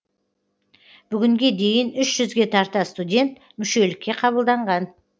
бүгінге дейін үш жүзге тарта студент мүшелікке қабылданған